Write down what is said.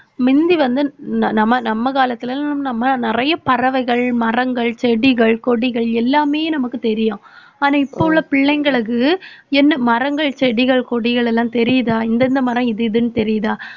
முந்தி வந்து நம~ நம்ம காலத்துலெல்லாம் நம்ம நிறைய பறவைகள் மரங்கள் செடிகள் கொடிகள் எல்லாமே நமக்கு தெரியும். ஆனா இப்ப உள்ள பிள்ளைங்களுக்கு என்ன மரங்கள் செடிகள் கொடிகள் எல்லாம் தெரியுதா இந்தந்த மரம் இது இதுன்னு தெரியுதா